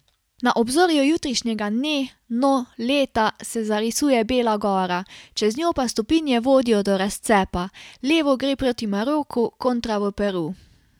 Na obzorju jutrišnjega dne, no, leta, se zarisuje Bela gora, čez njo pa stopinje vodijo do razcepa, levo gre proti Maroku, kontra v Peru.